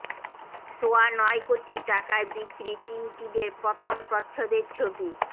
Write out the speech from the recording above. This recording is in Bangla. সোয়া নয় কোটি টাকায় বিক্রি টিনটিনের প্রথম প্রচ্ছদের ছবি